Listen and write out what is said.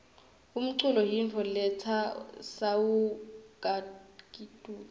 umcul yimifo letsa suwa kakitulu